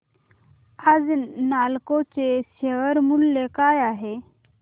आज नालको चे शेअर मूल्य काय आहे